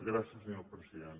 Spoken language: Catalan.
gràcies senyor president